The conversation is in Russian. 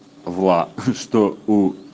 вла что у